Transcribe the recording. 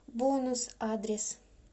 бонус адрес